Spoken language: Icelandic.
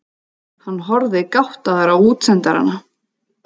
Hann horfði gáttaður á útsendarana.